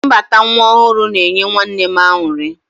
Mbata nwa ọhụrụ na-enye nwanne m aṅụrị.